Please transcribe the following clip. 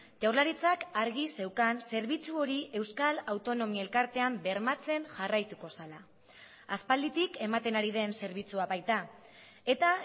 jaurlaritzak argi zeukan zerbitzu hori euskal autonomi elkartean bermatzen jarraituko zela aspalditik ematen ari den zerbitzua baita eta